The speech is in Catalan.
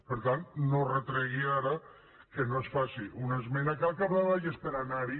per tant no retregui ara que no es faci una esmena que al capdavall és per anar hi